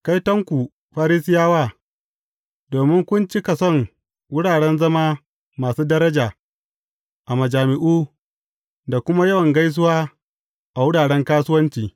Kaitonku, Farisiyawa, domin kun cika son wuraren zama masu daraja a majami’u, da kuma yawan gaisuwa a wuraren kasuwanci.